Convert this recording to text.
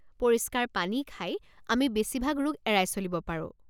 পৰিষ্কাৰ পানী খাই, আমি বেছিভাগ ৰোগ এৰাই চলিব পাৰোঁ।